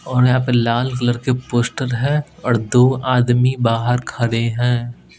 और यहाँ पे लाल कलर के पोस्टर है और बाहर दो आदमी खड़े है।